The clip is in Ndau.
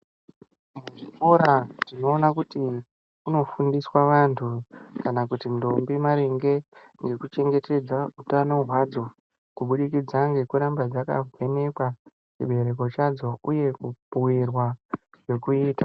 Muzvikora tinoona kuti kunofundiswa vanhu kana kuti ndombi maringe ngekuchengetedza utano hwadzo kubudikidza ngekuramba dzakavhenekwa chibereko chadzo uye kubhuirwa zvekuita.